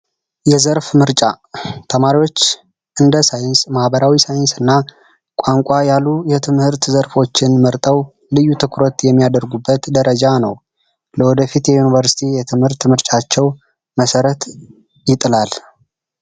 የዘርፍ ምርጫ ተማሪዎች እንደ ሳይንስ፣ ማህበራዊ ሳይን፣ ቋንቋ ያሉ የትምህርት ዘርፎችን መርጠው ልዩ ትኩረት የሚያደርጉበት ደረጃ ነው። ለወደፊት የዩኒቨርስቲ ምርጫቸው መሰረት ይጥላል።